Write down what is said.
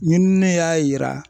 ɲinini y'a yira